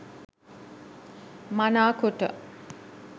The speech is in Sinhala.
මනාකොට